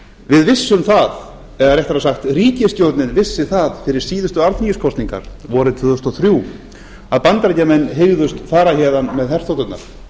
við vissum það eða réttara sagt ríkisstjórnin vissi að fyrir síðustu alþingiskosningar vorið tvö þúsund og þrjú að bandaríkjamenn hygðust fara héðan með herþoturnar